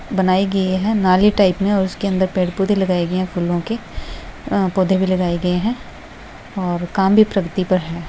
बनाई गई है नारियल टाइप में और उसके अंदर पेड़-पौधे लगाए गए हैं फूलो के अ पौधे में लगाए गए हैं और काम भी प्रगति पर है।